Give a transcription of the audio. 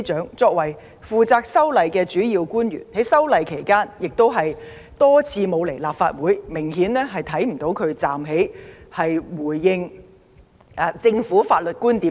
她身為負責修例工作的主要官員，在推動修例期間卻多次缺席立法會的會議，完全看不到她站在最前線闡釋政府的法律觀點。